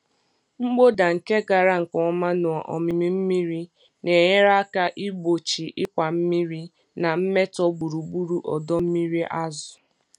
Mkpọda nke gara nke ọma na ómímí mmiri na-enyere aka igbochi ịkwa mmiri na mmetọ gburugburu ọdọ mmiri azụ̀.